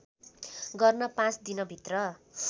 गर्न पाँच दिनभित्र